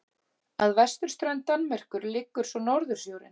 Að vesturströnd Danmerkur liggur svo Norðursjórinn.